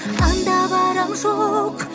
анда барам жоқ